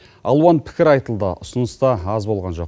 алуан пікір айтылды ұсыныс та аз болған жоқ